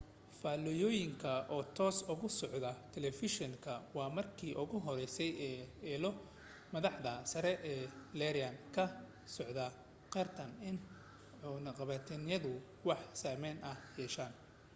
faallooyinka oo toos uga socda talafeeshinku waa markii ugu horeysay ee ilo madaxda sare ee iiraan ka socda qirtaan in cunaqabataynadu wax saameyn ah yeesheen